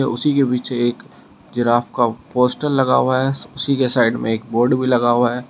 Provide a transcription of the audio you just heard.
उसी के पीछे एक जिराफ का पोस्टर लगा हुआ है उसी के साइड में एक बोर्ड भी लगा हुआ है।